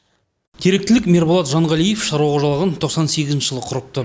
теректілік мерболат жанғалиев шаруа қожалығын тоқсан сегізінші жылы құрыпты